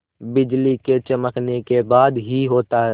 बिजली के चमकने के बाद ही होता है